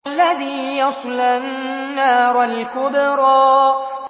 الَّذِي يَصْلَى النَّارَ الْكُبْرَىٰ